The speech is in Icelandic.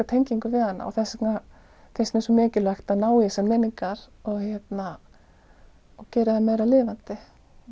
tengingu við hana og þess vegna finnst mér svo mikilvægt að ná í þessar minningar og gera þær meira lifandi